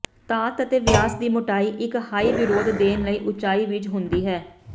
ਧਾਤ ਅਤੇ ਵਿਆਸ ਦੀ ਮੋਟਾਈ ਇੱਕ ਹਾਈ ਵਿਰੋਧ ਦੇਣ ਲਈ ਉਚਾਈ ਵਿੱਚ ਹੁੰਦੀ ਹੈ